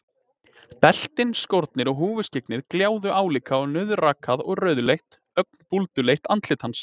Beltin, skórnir og húfuskyggnið gljáðu álíka og nauðrakað og rauðleitt, ögn búlduleitt andlit hans.